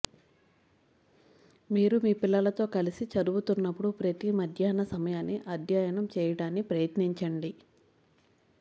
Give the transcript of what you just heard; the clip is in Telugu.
మీరు మీ పిల్లలతో కలిసి చదువుతున్నప్పుడు ప్రతి మధ్యాహ్న సమయాన్ని అధ్యయనం చేయడాన్ని ప్రయత్నించండి